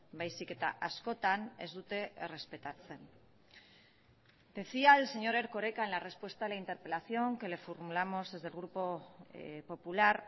baizik eta askotan ez dute errespetatzen decía el señor erkoreka en la respuesta a la interpelación que le formulamos desde el grupo popular